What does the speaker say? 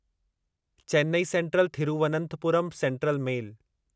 Chennai central Thiruvananthapuram central mail